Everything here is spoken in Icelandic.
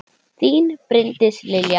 Þín, Bryndís Lilja.